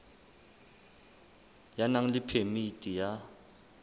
ya nang le phemiti ya